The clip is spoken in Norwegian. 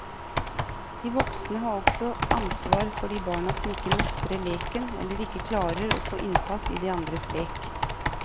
De voksne har også ansvar for de barna som ikke mestrer leken eller ikke klarer å få innpass i de andres lek.